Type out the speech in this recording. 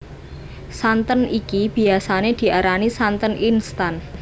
Santen iki biyasané diarani santen instan